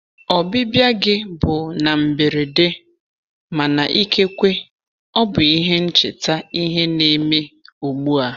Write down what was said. Ọbịbịa gị bụ na mberede, mana ikekwe ọ bụ ihe ncheta ihe ne me ugbua.